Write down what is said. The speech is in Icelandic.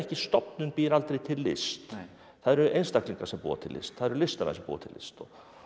stofnun býr aldrei til list það eru einstaklingar sem búa til list það eru listamenn sem búa til list og